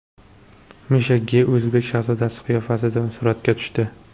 Misha Ge o‘zbek shahzodasi qiyofasida suratga tushdi .